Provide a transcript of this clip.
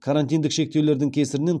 карантиндік шектеулердің кесірінен